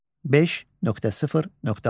5.0.6.